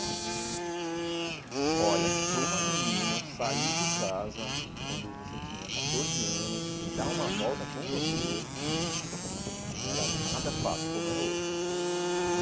É. Olha, para uma menina sair de casa quando você tinha catorze anos e dar uma volta com você não era nada fácil como é hoje.